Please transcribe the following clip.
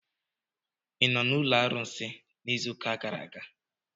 Ị nọ n'ụlọ arụsị izu ụka gara aga?